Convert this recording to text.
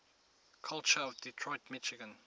culture of detroit michigan